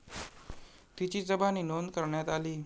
तिची जबानी नोंद करण्यात आली.